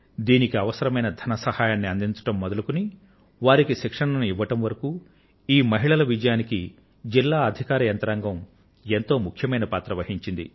దీనికి అవసరమైన ధన సహాయాన్ని అందించడం మొదలుకొని వారికి శిక్షణను ఇవ్వడం దాకా ఈ మహిళల విజయానికి జిల్లా అధికార యంత్రాంగం ఎంతో ముఖ్యమైన పాత్ర వహించింది